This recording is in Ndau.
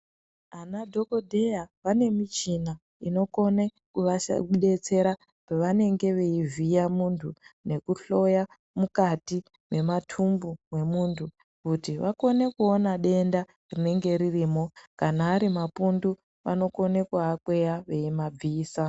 Anadhogodheya vane michina inokone kuvadetsera pavanenge veivhiya mntu nekuhloya mukati mwematumbu mwemuntu kuti vakone kuone denda ririmo. Kana ari mapundu vanokone kumakweya vemabvisa.